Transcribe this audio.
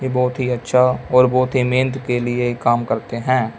ये बहोत ही अच्छा और बहोत ही मेहनत के लिए काम करते हैं।